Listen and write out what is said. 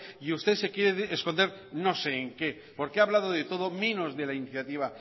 y usted se quiere esconder no sé en qué porque ha hablado de todos menos de la iniciativa